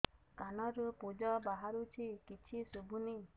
କାନରୁ ପୂଜ ବାହାରୁଛି କିଛି ଶୁଭୁନି